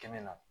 Kɛmɛ na